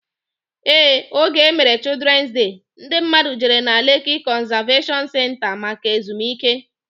Ee, oge emere Children's Day, ndi mmadu jere na Lekki Conservation Centre maka ezumike